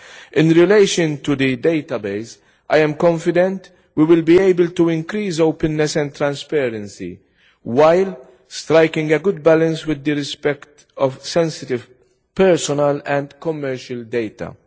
In relation to the database I am confident we will be able to increase openness and transparency, while striking a good balance with respect for sensitive, personal and commercial data.